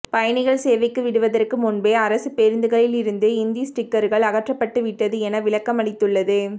பயணிகள் சேவைக்கு விடுவதற்கு முன்பே அரசு பேருந்துகளில் இருந்து இந்தி ஸ்டிக்கர்கள் அகற்றப்பட்டுவிட்டது என விளக்கம் அளித்துள்ளது